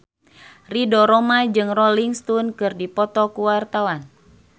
Ridho Roma jeung Rolling Stone keur dipoto ku wartawan